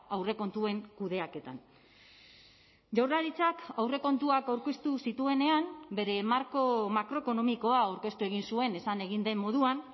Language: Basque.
aurrekontuen kudeaketan jaurlaritzak aurrekontuak aurkeztu zituenean bere marko makroekonomikoa aurkeztu egin zuen esan egin den moduan